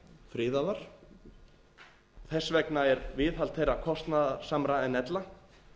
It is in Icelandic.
friðaðar þess vegna er viðhald þeirra kostnaðarsamara en ella